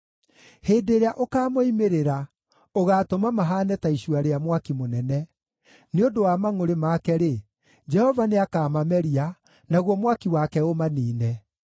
Hĩndĩ ĩrĩa ũkaamoimĩrĩra ũgaatũma mahaane ta icua rĩa mwaki mũnene. Nĩ ũndũ wa mangʼũrĩ make-rĩ, Jehova nĩakamameria, naguo mwaki wake ũmaniine.